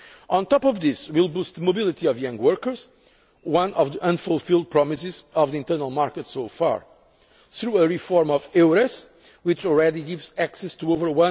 scheme. On top of this, we will boost the mobility of young workers one of the unfulfilled promises of the internal market so far by reforming EURES, which already gives access to